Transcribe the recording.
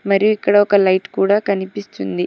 మరి ఇక్కడ ఒక లైట్ కూడా కనిపిస్తుంది.